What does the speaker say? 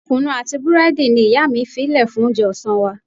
Kunu àti búrẹ́dì ni ìyá mi fí lè fún oúnjẹ ọ̀sán wa.